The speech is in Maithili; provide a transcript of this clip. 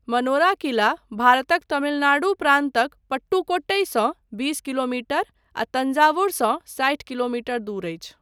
मनोरा किला, भारतक तमिलनाडु प्रान्तक पट्टुकोट्टईसँ बीस किलो मीटर आ तंजावुर सँ साठि किलोमीटर दूर अछि।